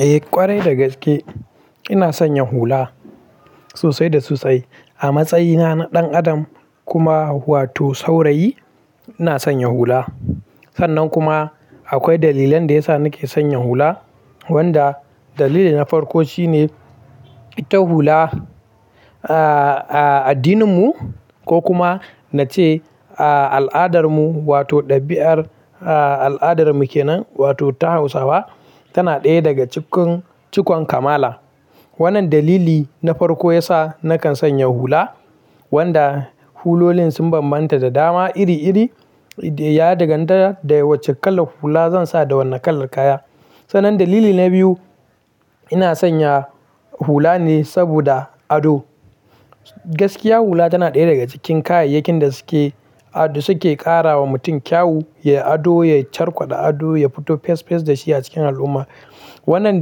Eh ƙwarai da gaske, ina sanya hula sosai da sosai. A matsayina na ɗan adam kuma wato saurayi ina sanya hula. Sannan kuma akwai dalilan da yasa nake sanya hula, wanda dalili na farko shine, ita hula, a, a addininmu ko kuma na ce a al'adarmu wato ɗabiar a al'adarmu kenan wato ta Hausawa tana ɗaya daga cikin cikon kamala. Wannan dalili na farko yasa nakan sanya hula, wanda hulolin sun bambanta da dama iri iri. Ya danganta da wacce kalar hula zan sa da wannan kalar kaya. Sannan dalili na biyu, ina sanya hula ne saboda ado. Gaskiya hula tana ɗaya daga cikin kayayyakin da suke, suke ƙara wa mutum kyau, ya ado, ya carkwaɗa ado, ya fito fes fes da shi a cikin al'umma. Wannan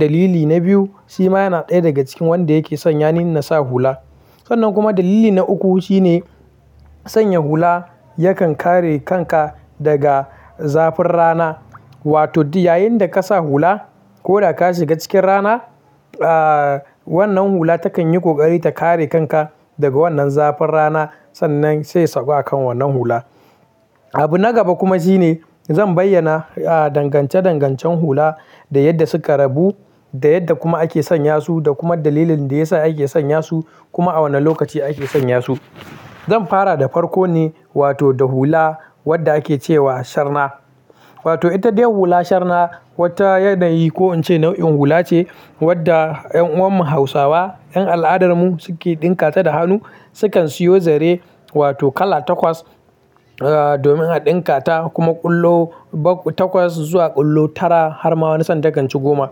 dalili na biyu shi ma yana ɗaya daga cikin wanda yake sanya min nasa hula. Sannan kuma dalili na uku shine sanya hula yakan kare kanka daga zafin rana. Wato da yayin da kasa hula ko da ka shiga cikin rana, a, wannan hula takan yi ƙoƙari ta kare kanka daga wannan zafin rana sannan sai ya sauko a kan wannan hula. Abu na gaba kuma shine, zan bayyana a dangance dangancen hula da yadda suka rabu, da yadda kuma ake sanya su, da kuma dalilin da yasa ake sanya su kuma a wane lokaci ake sanya su. Zan fara da farko ne wato da hula wadda ake ce wa sharna. Wato ita dai hula sharna wata yanayi ko in ce nau'in hula ce wadda en uwan mu Hausawa, yan al'adarmu suke ɗinka ta da hannu. Sukan siyo zare wato kala takwas domin a ɗinka ta, kuma ƙwallo bakwa takwas zuwa ƙwallo tara har ma wani san ta kan ci goma.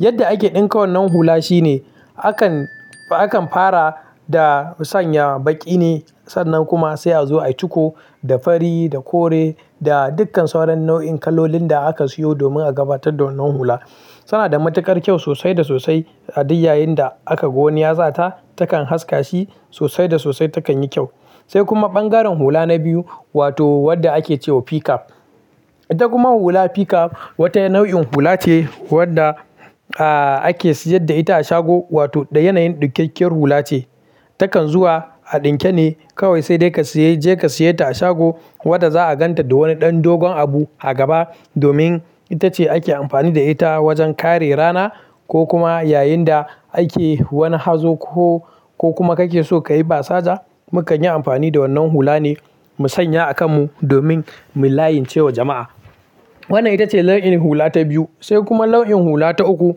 Yadda ake ɗinka wannan hula shine akan, akan fara da sanya baƙi ne sannan kuma sai a zo a ciko da fari, da kore, da dukkan sauran nau'in kalolin da aka siyo domin a gabatar da wannan hula. Tana da matuƙar kyau sosai da sosai. A duk yayin da aka gwani ya sata, takan haska shi sosai da sosai takan yi kyau. Sai kuma bangaren hula na biyu wato wadda ake ce wa pikap. Ita kuma hula pikap wata nau'in hula ce wadda, a, ake siyar da ita a shago wato da yanayin ɗikakkiyar hula ce. Takan zuwa a ɗinke ne kawai sai dai ka sayi, je ka saye ta a shago wadda za a ganta da wani ɗan dogon abu a gaba domin ita ce ake amfani da ita wajen kare rana ko kuma yayin da ake wani hazo ko, ko kuma kake so kayi basaja. Mukan yi amfani da wannan hula ne mu sanya a kan mu domin mu layin ce wa jama'a. Wannan ita ce launin hula ta biyu. Sai kuma launin hula ta uku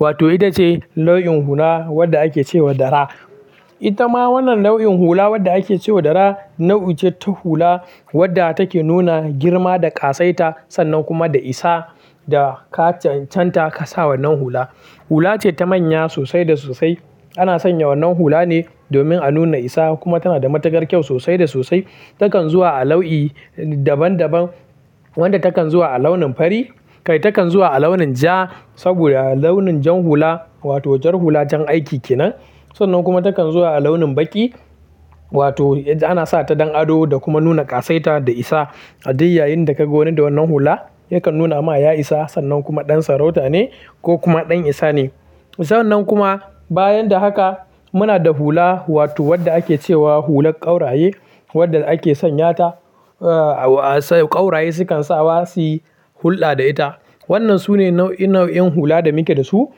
wato ita ce launin hula wadda ake ce wa dara. Ita ma wannan nau'in hula wadda ake ce wa dara nau'i ce ta hula wadda take nuna girma da ƙasaita sannan kuma da isa da ka can-canta ka sa wannan hula. Hula ce ta manya sosai da sosai. Ana sanya wannan hula ne domin a nuna isa kuma tana da matuƙar kyau sosai da sosai. Takam zuwa a lau'i daban daban wanda takan zuwa a launin fari kai takan zuwa a launin ja saboda launin jan hula wato jar hula jan aiki kenan. Sannan kuma takan zuwa a launin baƙi wato ana sa ta don ado da kuma nuna ƙasaita da isa. A duk yayin da ka gwani da wannan hula yakan nuna ma ya isa, sannan kuma ɗan sarauta ne ko kuma ɗan isa ne. Ita wannan kuma bayan da haka, muna da hula wato wadda ake ce wa hular ƙauraye, wadda ake sanya ta, a, sai ƙauraye sukan sa wa suyi hullɗa da ita. Wannan sune nau'i, nau'in hula da muke da su,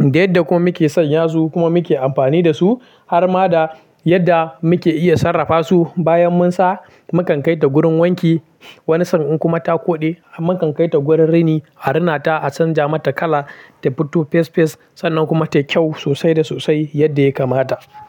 da yadda kuma muke sanya su kuma muke amfani da su har ma da yadda muke iya sarrafa su. Bayan mun sa, mu kan kai ta wurin wanki. Wani sa'in kuma ta koɗe, mu kan kai ta wurin rini, a rina ta, a canja mata kala ta fito fes fes sannan kuma tayi kyau sosai da sosai yadda ya kamata.